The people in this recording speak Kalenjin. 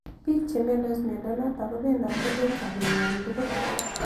Piik che imiandos miondo notok ko pendoti eng' sobeng'wai tug'ul